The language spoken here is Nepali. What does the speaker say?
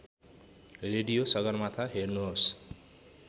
रेडियो सगरमाथा हेर्नुहोस्